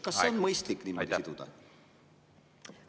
Kas on mõistlik neid asju niimoodi siduda?